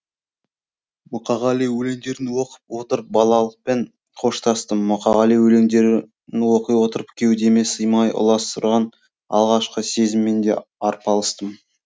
мұқағали өлеңдерін оқып отырып балалықпен қоштастым мұқағали өлеңдерін оқи отырып кеудеме сыймай аласұрған алғашқы сезіммен де арпалыстым